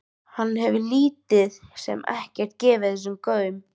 Hann hefur lítið sem ekkert gefið þessu gaum.